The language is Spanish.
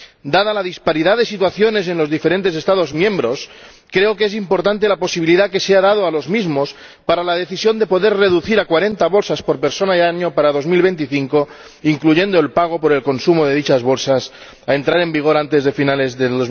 Dada la disparidad de situaciones en los diferentes Estados miembros, creo que es importante la posibilidad que se ha dado a los mismos de decidir entre reducir este consumo a 40 bolsas por persona y año para 2025, o de pagar por el consumo de dichas bolsas, lo que deberá entrar en vigor antes de finales de